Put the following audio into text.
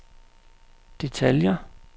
detaljer